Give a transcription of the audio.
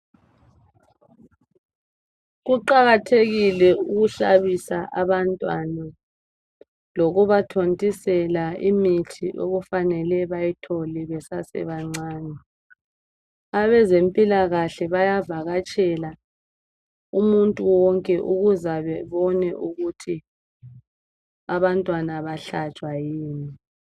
Kuqakathekile ukuhlabisa abantwana lokubathontisela imithi okufanele bayithole besasebancane. Abezempilakahle bayavakatshela umuntu wonke ukuzebabone ukuthi abantwana bayahlatshwa yini.